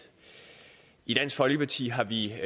i dansk folkeparti har vi